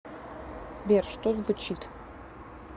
сбер что звучит